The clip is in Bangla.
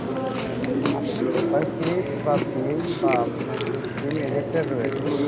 আপনার paper clip বা pin বা আপনার যে sim ejector রয়েছে